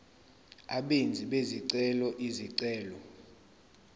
abenzi bezicelo izicelo